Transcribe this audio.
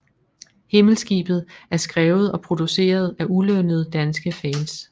Himmelskibet er skrevet og produceret af ulønnede danske fans